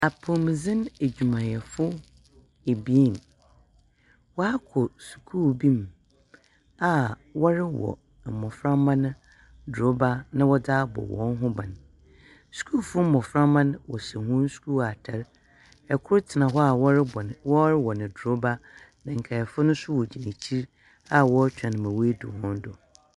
Apomuden adwumayɛfo abien wakɔ sukuu bi mu a wɔrewɔ mmofra no aduru bi de abɔ wɔn ho ban Sukuu mmofra no hyɛ wɔn sukuu ataade ɔbiako te hɔ a wɔwɔ no paanee nkae no gyina akyiri twɛn sɛ ebeduru wɔn so.